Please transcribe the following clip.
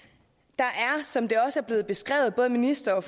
der er som det også er blevet beskrevet både ministeren og